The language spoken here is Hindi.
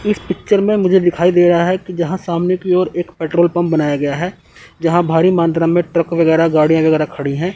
इस पिक्चर में मुझे दिखाई दे रहा है कि जहां सामने की ओर एक पेट्रोल पंप बनाया गया है जहां भारी मात्रा में ट्रक वगैरा गाड़ी वगैरा खड़ी है।